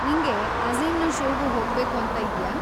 ನಿಂಗೆ ಅಝೀಮ್‌ನ ಷೋಗೂ ಹೋಗ್ಬೇಕು ಅಂತ ಇದ್ಯಾ?